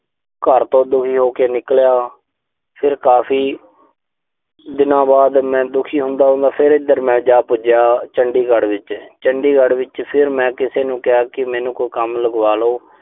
ਘਰ ਤੋਂ ਦੁਖੀ ਹੋ ਕੇ ਨਿਕਲਿਆ। ਫਿਰ ਕਾਫ਼ ਦਿਨਾਂ ਬਾਅਦ, ਦੁਖੀ ਹੁੰਦਾ-ਹੁੰਦਾ, ਫਿਰ ਇਧਰ ਮੈਂ ਜਾ ਪੁੱਜਿਆ ਚੰਡੀਗੜ੍ਹ ਵਿੱਚ। ਚੰਡੀਗੜ੍ਹ ਵਿੱਚ ਫਿਰ ਮੈਂ ਕਿਸੇ ਨੂੰ ਕਿਹਾ ਕਿ ਮੈਨੂੰ ਕੋਈ ਕੰਮ ਲਵਾਦੋ।